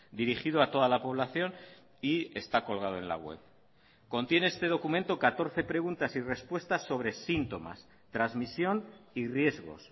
dirigido a toda la población y está colgado en la web contiene este documento catorce preguntas y respuestas sobre síntomas transmisión y riesgos